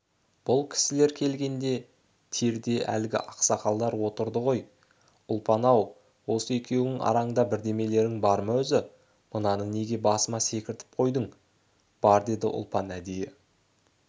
бұл кісілер келгенде терде әлгі ақсақалдар отырды ғой ұлпан-ау осы екеуіңнің араңда бірдемелерің бар ма өзі мынаны неге басыма секіртіп қойдың бар деді ұлпан әдейі